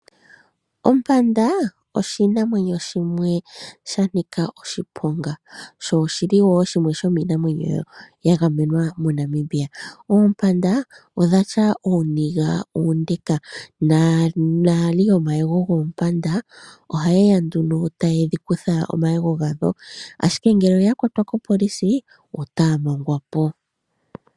Ompanda, oshinamwenyo shimwe sha nika oshiponga, sho oshi li woo shimwe shomiinamwenyo yagamenwa moNamibia. Oompanda odhatya uuniga uunde, naali yomayego goompanda oha yeya taye dhi kutha omayego gawo, ashike ngele oya kwatwa kopolisi otaa mangwa po.